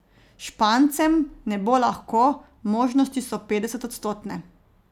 Špancem ne bo lahko, možnosti so petdesetodstotne.